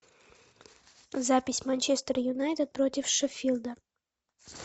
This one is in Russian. запись манчестер юнайтед против шеффилда